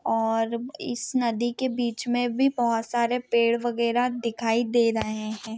और इस नदी के बीच मे भी बहुत सारे पेड़ वागेराह भी दिखाई दे रहे है।